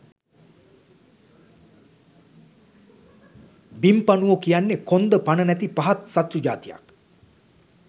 බිම්පණුවෝ කියන්නේ කොන්ද පණ නැති පහත් සත්තු ජාතියක්